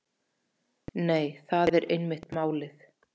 Nei, það er einmitt málið.